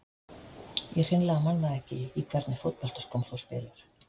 Ég hreinlega man það ekki Í hvernig fótboltaskóm spilar þú?